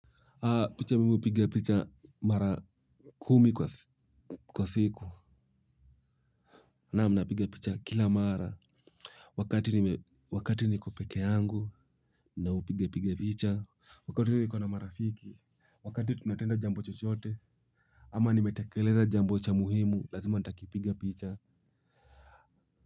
Picha mimi hupiga picha mara kumi kwa siku. Naam, napiga picha kila mara. Wakati niko peke yangu na upiga piga picha. Wakati niko na marafiki, wakati tunatenda jambo chochote. Ama nimetekeleza jambo cha muhimu, lazima nitakipiga picha.